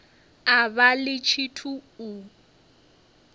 a vha ḽi tshithu u